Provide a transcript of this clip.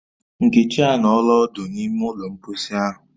Nkechi anọọla odu n’ime ụlọ mposi ahu